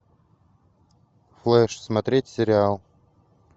флэш смотреть сериал